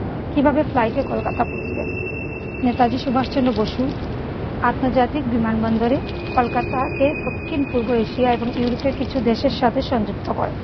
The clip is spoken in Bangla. কিভাবে ফ্লাইটে কলকাতা পৌঁছবেন? নেতাজি সুভাষচন্দ্র বসু আন্তর্জাতিক বিমানবন্দরে কলকাতাকে দক্ষিণ-পূর্ব এশিয়া এবং ইউরোপের কিছু দেশের সাথে সংযুক্ত করে।